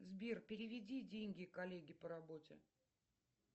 сбер переведи деньги коллеге по работе